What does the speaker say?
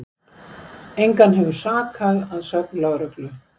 Engan hefur sakað að sögn lögreglu